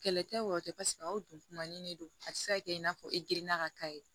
Kɛlɛ tɛ wa tɛ pasi aw don man di ne don a tɛ se ka kɛ i n'a fɔ e grinna ka k'a ye